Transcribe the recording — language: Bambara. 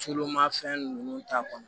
Tulu ma fɛn ninnu t'a kɔnɔ